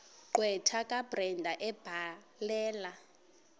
gqwetha kabrenda ebhalela